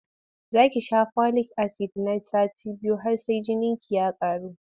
Za ki sha folik-asid na sati uku har sai jininki ya ƙaru.